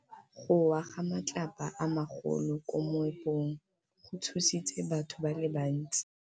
Go wa ga matlapa a magolo ko moepong go tshositse batho ba le bantsi.